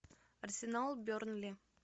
арсенал бернли